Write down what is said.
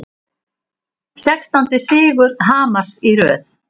Sextándi sigur Hamars í röð